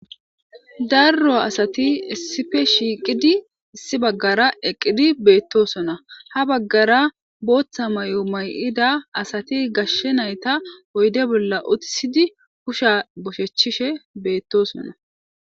darro asati essife shiiqidi issi baggara eqqidi beettosona ha baggara booththa may7o may7ida asati gashshe nayta oyde bolla utisidi kusha boshechishe beettosona